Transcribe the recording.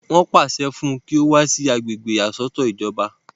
wọ́n pàṣẹ fún un kí ó kó wá sí agbègbè ìyàsọ́tọ̀ ìjọba